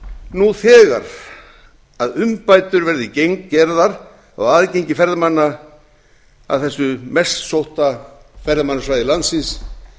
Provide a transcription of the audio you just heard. nú þegar að umbætur verði gerðar á aðgengi ferðamanna að þessu mest sótta ferðamannasvæði landsins